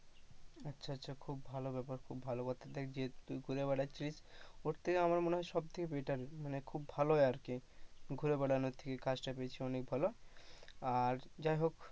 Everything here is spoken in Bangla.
আচ্ছা আচ্ছা খুব ভালো ব্যাপার খুব ভালো কথা যে তুই ঘুরে বেড়াচ্ছিলিস ওর থেকে মনে হয় সবথেকে better খুব ভালোই আর কি ঘুরে বেড়ানোর থেকে কাজটা পেয়েছিস অনেক ভালো আর যাই হোক।